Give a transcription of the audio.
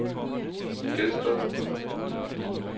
Gedsted